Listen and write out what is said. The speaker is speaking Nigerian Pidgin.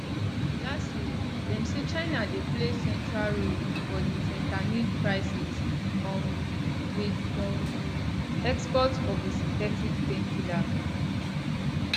lastly dem say china dey play central role for di fentanyl crisis um wit um exports of di synthetic painkiller